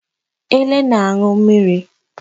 Ele na-aṅụ mmiri.